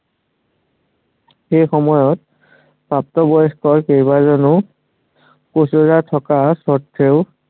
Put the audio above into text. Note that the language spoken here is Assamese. সেই সময়ত, প্ৰাপ্তবয়স্ক কেইবাজনো ৰজা থকা স্বত্ত্বেও